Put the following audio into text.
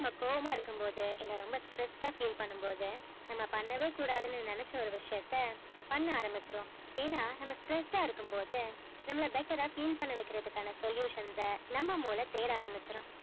நாம்ம கோவமா இருக்கும் போது இல்ல ரொம்ப stressed ஆ feel பண்ணும் போது நாம பண்ணவே கூடாதுன்னு நெனச்ச ஒரு விஷயத்த பண்ண ஆரம்பிச்சிடுவோம் ஏன்ன நாம்ம stressed ஆ இருக்கும் போது நம்மள better ஆ feel பண்ண வைக்குறதுக்கு ஆன solution ஸ்ஸ நம்ம மூல தேட ஆரம்பிச்சிரும்